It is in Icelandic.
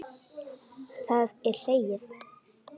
Það er hlegið.